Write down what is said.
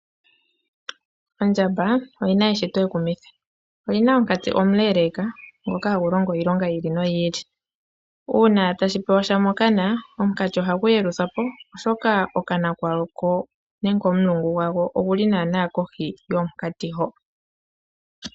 Ondjamba oyina eshito ekumithi. Oyina omunkati omuleeleka ngoka hagu longo iilonga yi ili noyi ili. Uuna tayi pewasha mokana omunkati ohagu yeluthwapo oshoka okana kwayo nenge omulungu gwayo oguli naana kohi yomunkati hoka.